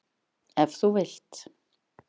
Ef þú vilt.